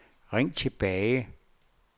ring tilbage